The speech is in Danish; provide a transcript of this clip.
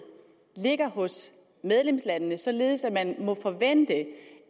ligger hos medlemslandene således at man må forvente